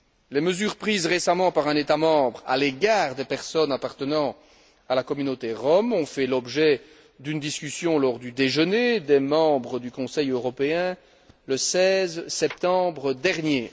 Les mesures prises récemment par un État membre à l'égard des personnes appartenant à la communauté rom ont fait l'objet d'une discussion lors du déjeuner des membres du Conseil européen, le 16 septembre dernier.